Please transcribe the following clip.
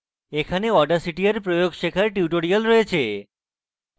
এখানে audacity এর প্রয়োগ শেখার tutorials রয়েছে